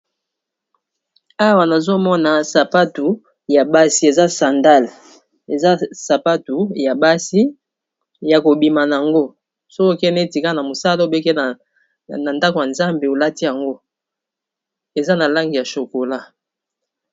Awa nazomona sapatu ya basi eza sandale eza sapatu ya basi ya kobima na yango sokokene, etika na mosala obeke na ndako ya nzambe olati yango eza na langi ya shokola.